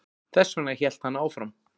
Þessvegna hélt hann áfram